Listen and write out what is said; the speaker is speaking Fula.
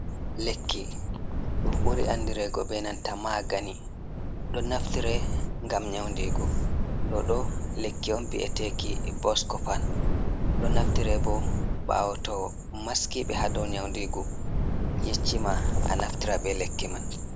Lekki ɗum buri andireki be nanta magani, ɗo naftire ngam nyaundigu. Ɗo ɗo lekki on vi'eteki boskopan, ɗo naftire bo ɓawo to maskiɓe haa dow nyaundigu yeccima a naftira ɓe lekki man.